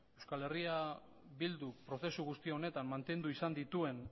eh bilduk prozesu guzti honetan mantendu izan dituen